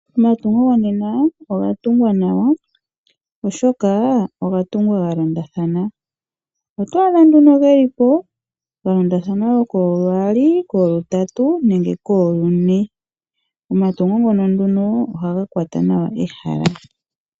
Omatungo gonena oga tungwa nawa oshoka oga tungwa galondathana. Oto adha nduno geli po ga londathana koogaali, koogatatu nenge koogane. Omatungo ngono nduno ohaga kwata nawa ehala.